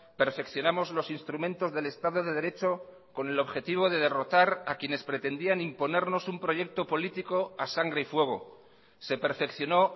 perfeccionamos los instrumentos del estado de derecho con el objetivo de derrotar a quienes pretendían imponernos un proyecto político a sangre y fuego se perfeccionó